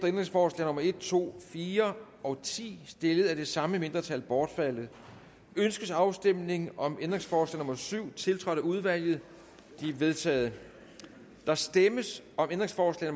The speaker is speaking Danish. ændringsforslag nummer en to fire og ti stillet af det samme mindretal bortfaldet ønskes afstemning om ændringsforslag nummer syv tiltrådt af udvalget det er vedtaget der stemmes om ændringsforslag